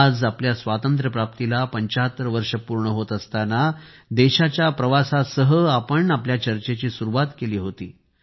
आज आपल्या स्वातंत्र्यप्राप्तीला 75 वर्षे पूर्ण होत असताना देशाच्या प्रवासासह आपण आपल्या चर्चेची सुरुवात केली होती